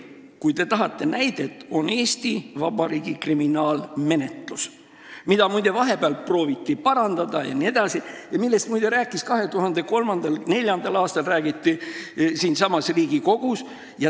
Kui te tahate näidet, siis selleks on Eesti Vabariigi kriminaalmenetlus, mida vahepeal prooviti parandada ja millest muide räägiti 2003. ja 2004. aastal ka siinsamas Riigikogus.